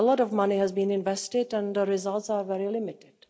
here. A lot of money has been invested and the results are very limited.